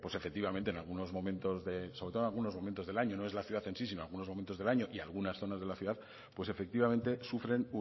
efectivamente en algunos momentos sobre todo en algunos momentos del año no es la ciudad en sí sino en algunos momentos del año y algunas zonas de la ciudad pues efectivamente sufren